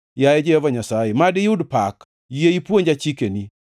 Yaye Jehova Nyasaye, mad iyud pak; yie ipuonja chikeni.